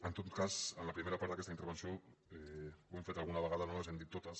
en tot cas en la primera part d’aquesta intervenció ho hem fet alguna vegada no les hem dit totes